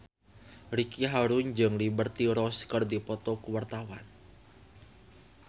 Ricky Harun jeung Liberty Ross keur dipoto ku wartawan